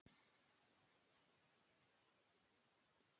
Kolka, lækkaðu í græjunum.